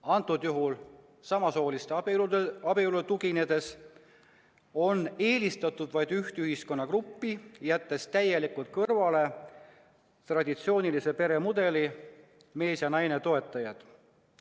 Antud juhul samasooliste abielu näitele tuginedes on eelistatud vaid üht ühiskonnagruppi, jättes täielikult kõrvale traditsioonilise peremudeli, mehe ja naise liidu toetajad.